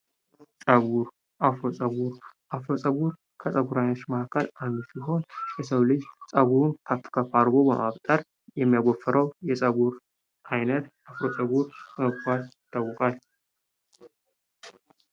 ፀጉር አፍሮ ፀጉር:- አፍሮ ፀጉር ከፀጉር አይነቶች መካከል ከንዱ ሲሆን የሰዉ ልጅ ፀጉር ከፍ ከፍ አድርጎ በማበጠር የሚያጎፍረዉ የፀጉር አይነት አፍሮ ፀጉር ይባላል።